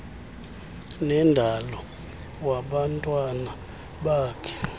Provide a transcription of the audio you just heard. wendalo wabantwana bakhe